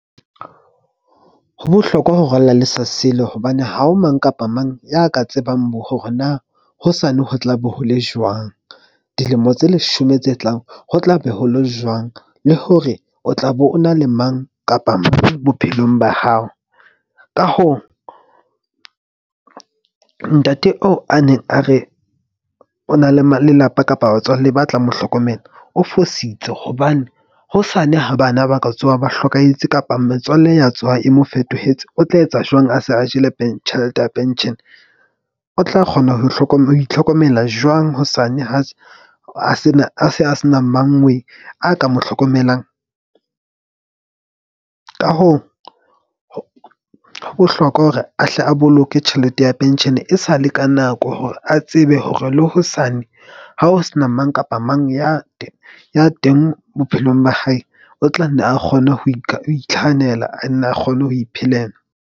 Ho bohlokwa ho rwalla le sa sile hobane ha ho mang kapa mang ya ka tsebang hore na hosane ho tlabe ho le jwang. Dilemo tse leshome tse tlang, ho tlabe ho lo jwang le hore o tla be o na le mang kapa mang bophelong ba hao. Ka hoo, ntate oo a neng a re o na le lelapa kapa batswalle ba tla mo hlokomela, o fositse hobane hosane ha bana ba ka tsoha ba hlokahetse kapa metswalle ya tsona e mo fetohetse. O tla etsa jwang a se a jele tjhelete ya pension o tla kgona ho itlhokomela jwang hosane ha se a se a se na mang we a ka mo hlokomelang? Ka hoo, ho bohlokwa hore a hle a boloke tjhelete ya pension-e e sale ka nako hore a tsebe hore le hosane. Ha o se na mang kapa mang ya ya teng bophelong ba hae, o tla nne a kgone ho ho itlhahanela, a nne a kgone ho iphelela.